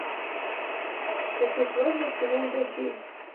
хочу свадьба в сезон дождей